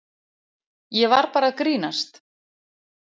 Ég var bara að grínast.